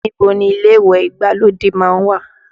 Níbo ni ilé ìwẹ̀ ìgbàlódé má ń wà?